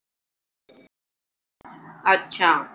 अच्छा.